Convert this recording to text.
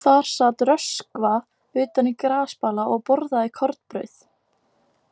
Þar sat Röskva utan í grasbala og borðaði kornbrauð.